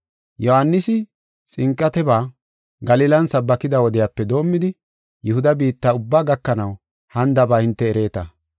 Yohaanisi xinqateba Galilan sabbakida wodiyape doomidi Yihuda biitta ubbaa gakanaw hanidaba hinte ereeta.